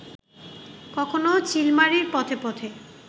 কখনো চিলমারির পথে পথে